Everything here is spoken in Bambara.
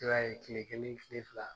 I b'a ye kile kelen kile fila.